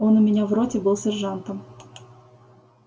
он у меня в роте был сержантом